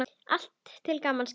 Allt til gamans gert.